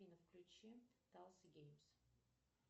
афина включи талс геймс